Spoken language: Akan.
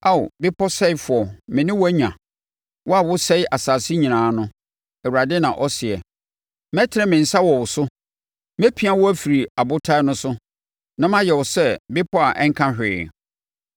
“Ao, bepɔ sɛefoɔ me ne wo anya, wo a wosɛe asase nyinaa no,” Awurade na ɔseɛ. “Mɛtene me nsa wɔ wo so mɛpia wo afiri abotan no so, na mayɛ wo sɛ bepɔ a ɛnka hwee.